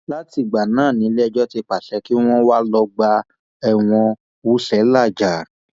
látìgbà náà niléẹjọ ti pàṣẹ kí wọn wà lọgbà ẹwọn wúṣẹ làájá